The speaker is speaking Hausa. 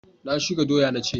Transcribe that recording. Ku shuka doya na ce!